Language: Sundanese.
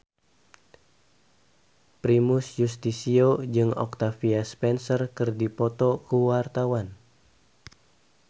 Primus Yustisio jeung Octavia Spencer keur dipoto ku wartawan